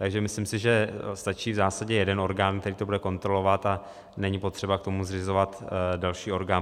Takže si myslím, že stačí v zásadě jeden orgán, který to bude kontrolovat, a není potřeba k tomu zřizovat další orgán.